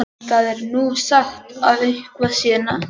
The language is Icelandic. Það er nú sagt að eitthvað sé þar niðri.